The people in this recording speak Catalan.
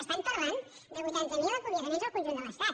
estan parlant de vuitanta mil acomiadaments en el conjunt de l’estat